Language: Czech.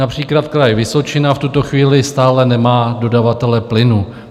Například Kraj Vysočina v tuto chvíli stále nemá dodavatele plynu.